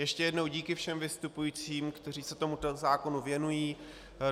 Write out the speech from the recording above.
Ještě jednou díky všem vystupujícím, kteří se tomuto zákonu věnují.